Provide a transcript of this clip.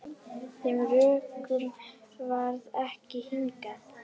Þeim rökum varð ekki hnikað.